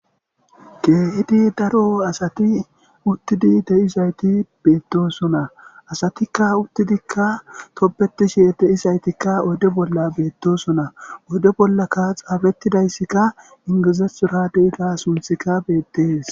Keehidi daro asati uttidi de7izayti beettosona asatikka uttidikka toppetishe de7isaytikka odde bolla beettosona odde bollakka xaafettidayssikka ingizethora de7ita sunthikka beettees